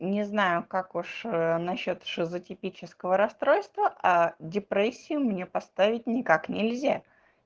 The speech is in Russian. не знаю как уж насчёт шизотипического расстройства а депрессию мне поставить никак нельзя